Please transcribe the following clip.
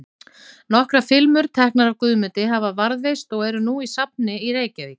Nokkrar filmur, teknar af Guðmundi, hafa varðveist og eru nú á safni í Reykjavík.